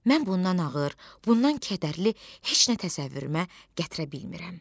Mən bundan ağır, bundan kədərli heç nə təsəvvürümə gətirə bilmirəm.